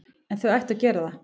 En þau ættu að gera það.